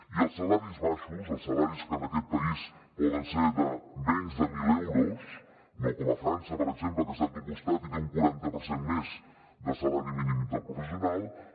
i els salaris baixos els salaris que en aquest país poden ser de menys de mil euros no com a frança per exemple que està aquí al costat i té un quaranta per cent més de salari mínim interprofessional